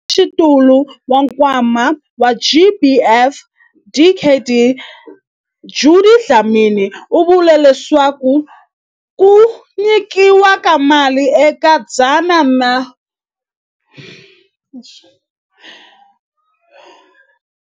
Mutshamaxitulu wa Nkwama wa GBVF, Dkd Judy Dlamini, u vule leswaku ku nyikiwa ka mali eka 108 wa mihlangano leyi swikombelo swa yona swi humeleleke swi le ku endliweni.